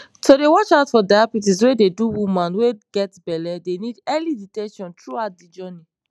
to dey watch out for diabetes wey dey do woman wey get belle dey need early detection throughout de journey